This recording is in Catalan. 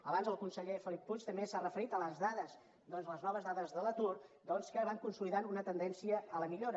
abans el conseller felip puig també s’ha referit a les dades a les noves dades de l’atur doncs que van consolidant una tendència a la millora